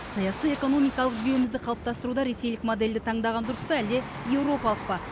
саяси экономикалық жүйемізді қалыптастыруда ресейлік модельді таңдаған дұрыс па әлде еуропалық па